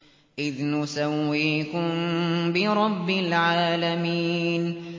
إِذْ نُسَوِّيكُم بِرَبِّ الْعَالَمِينَ